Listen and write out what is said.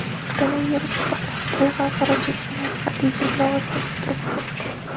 Koronavirus tufayli Xitoy xalqaro chegaralari qat’iy cheklov ostida turibdi.